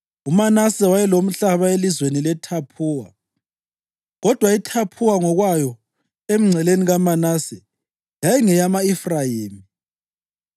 (UManase wayelomhlaba elizweni leThaphuwa, kodwa iThaphuwa ngokwayo, emngceleni kaManase, yayingeyama-Efrayimi.)